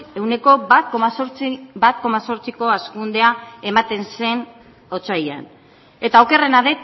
ehuneko bat koma zortziko hazkundea ematen zen otsailean eta okerrena